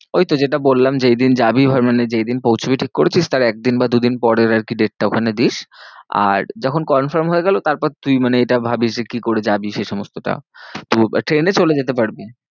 ওই তো যেটা বললাম যেই দিন যাবি এবার মানে যেই দিন পৌছবি ঠিক করেছিস তার একদিন বা দু দিন পরের আর কি date টা ওখানে দিস। আর যখন confirm হয়ে গেলো তার পর তুই মানে এটা ভাবিস যে কি করে যাবি সেই সমস্তটা। তো ট্রেনে চলে যেতে পারবি।